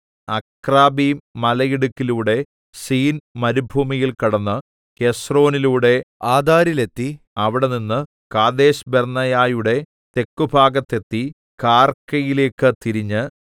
അക്രബ്ബീം മലയിടുക്കിലൂടെ സീൻ മരുഭൂമിയിൽ കടന്ന് ഹെസ്രോനിലൂടെ ആദാരിലെത്തി അവിടെനിന്ന് കാദേശ്ബർന്നേയയുടെ തെക്കുഭാഗത്തെത്തി കാർക്കയിലേക്കു തിരിഞ്ഞ്